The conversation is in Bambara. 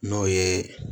N'o ye